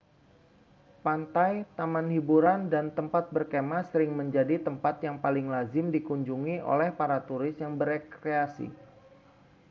pantai taman hburan dan tempat berkemah sering menjadi tempat yang paling lazim dikunjungi oleh para turis yang berekreasi